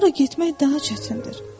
Ora getmək daha çətindir.”